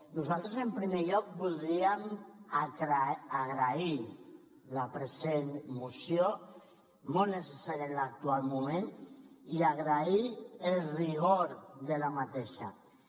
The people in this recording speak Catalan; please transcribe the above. nosaltres en primer lloc voldríem agrair la present moció molt necessària en l’actual moment i agrair el rigor de la mateixa moció